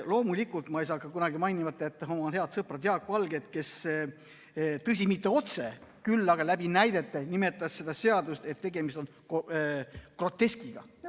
Loomulikult ei saa mainimata jätta head sõpra Jaak Valget, kes, tõsi, mitte otse, küll aga näidetega näitas, et tegemist on groteskiga.